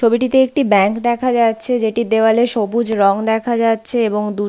ছবিটিতে একটি ব্যাঙ্ক দেখা যাচ্ছে। যেটির দেয়ালে সবুজ রং দেখা যাচ্ছে এবং দূর--